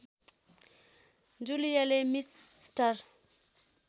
जुलियाले miss star